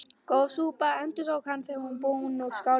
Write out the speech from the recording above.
Góð súpa endurtók hann, þegar hann var búinn úr skálinni.